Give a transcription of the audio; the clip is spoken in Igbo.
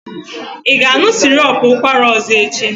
Ị ga-aṅụ sirop ụkwara ọzọ echi?